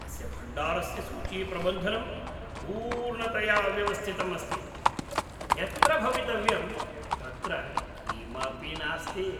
अस्य भण्डारस्य सूचीप्रबन्धनं पूर्णतया अव्यवस्थितम् अस्ति। यत्र भवितव्यं तत्र किमपि नास्ति।